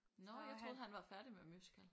Nå jeg troede han var færdig med musical